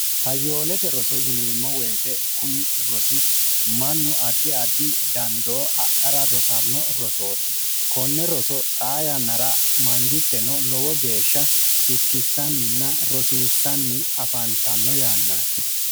hayyoolete roso yineemmo woyite kuni rosi mannu addi addi dandoo adhara rosanno rosooti konne roso xaa yannara mangitteno lowo geeshsha irkissanninna rosiissanni afaantanno yaannaati